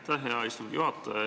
Aitäh, hea istungi juhataja!